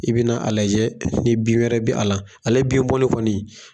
I bɛna a lajɛ ni bin wɛrɛ bɛ a la. Ale bin bɔli kɔni